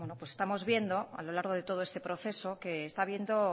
bueno estamos viendo a lo largo de todo este proceso que está viendo